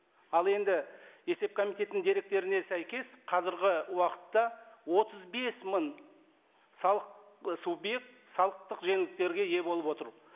ал енді есеп комитетінің деректеріне сәйкес қазіргі уақытта отыз бес мың салық і субъект салықтық жеңілдіктерге ие болып отыр